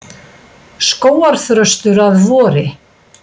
Skógarþröstur að vori.